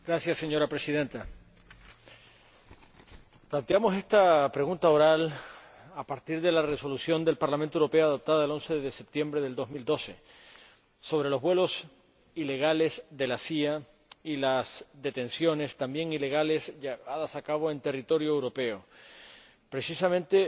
Señora Presidenta, planteamos esta pregunta oral a partir de la Resolución del Parlamento Europeo, aprobada el 11 de septiembre de 2012, sobre los vuelos ilegales de la CIA y las detenciones, también ilegales, llevadas a cabo en territorio europeo, precisamente,